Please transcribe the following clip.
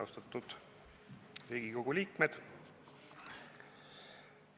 Austatud Riigikogu liikmed!